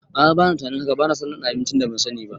A'a bana tunanin haka, banaso ɗanɗana abincin da ban sani ba